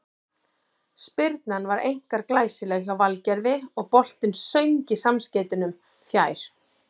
Spyrnan var einkar glæsileg hjá Valgerði og boltinn söng í samskeytunum fjær.